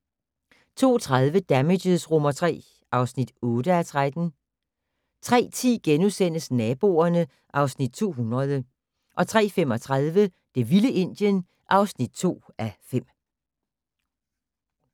02:30: Damages III (8:13) 03:10: Naboerne (Afs. 200)* 03:35: Det vilde Indien (2:5)